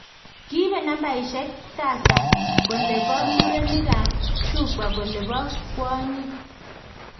Kiibe nambaisiek tasa kole bo murenik ak shufwa kole bo kwonyik